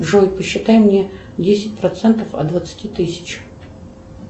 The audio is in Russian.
джой посчитай мне десять процентов от двадцати тысяч